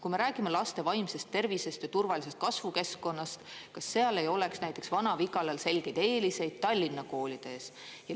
Kui me räägime laste vaimsest tervisest ja turvalisest kasvukeskkonnast, kas seal ei oleks näiteks Vana-Vigalas selgeid eeliseid Tallinna koolide ees?